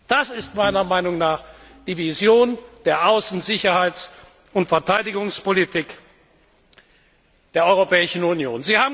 Das ist meiner Meinung nach die Vision der Außen Sicherheits und Verteidigungspolitik der Europäischen Union.